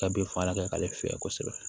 Ka bin fagala kɛ k'ale fiyɛ kosɛbɛ